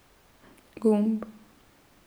Gumb.